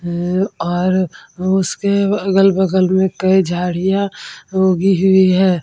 है और उसके अगल-बगल में कई झाड़ियां उगी हुई हैं।